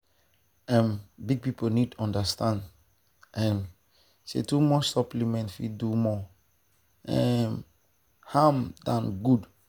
um big people need understand um say too much supplement fit do more um harm than good.